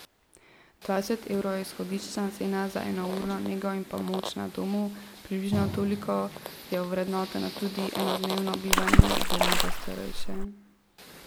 Dvajset evrov je izhodiščna cena za enourno nego in pomoč na domu, približno toliko je ovrednoteno tudi enodnevno bivanje v domu za starejše.